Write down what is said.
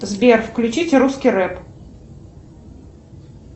сбер включить русский рэп